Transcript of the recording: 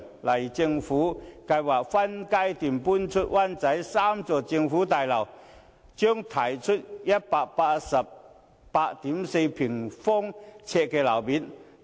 例如，政府計劃分階段遷出灣仔北的3幢政府大樓，將騰出約 1,884 000平方呎的樓面面積。